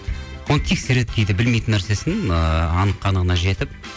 оны тексереді кейде білмейтін нәрсесін ыыы анық қанығына жетіп